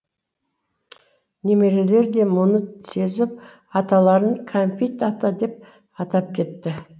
немерелер де мұны сезіп аталарын кәмпит ата деп атап кетті